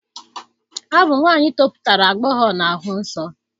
Ọ bụ nwaanyị toputara agbọghọ na-ahụ nsọ